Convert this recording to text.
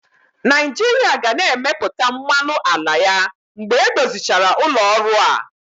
Naijiria ga na-emepụta mmanụ ala ya mgbe edozichara ụlọ ọrụ a.